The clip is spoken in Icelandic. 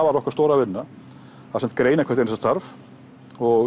var okkar stóra vinna að greina hvert starf og